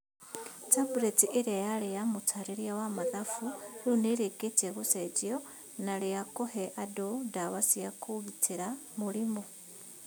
Tabureti ĩrĩa yarĩ na mũtaarĩria wa mathafu rĩu nĩ ĩrĩkĩtie gũcenjio na rĩa kũhe andũ ndawa cia kũgitĩra mũrimũ.